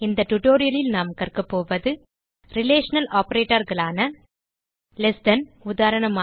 இந்த tutorialலில் நாம் கற்கப்போவது ரிலேஷனல் operatorகளான லெஸ் than உதாரணமாக